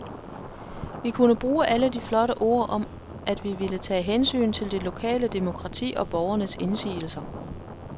Vi kunne bruge alle de flotte ord om, at vi ville tage hensyn til det lokale demokrati og borgernes indsigelser.